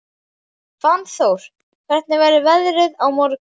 Fannþór, hvernig verður veðrið á morgun?